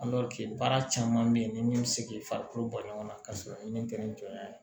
baara caman bɛ ye ni min bɛ se k'i farikolo ba ɲɔgɔn na ka sɔrɔ min tɛ nɔn' ye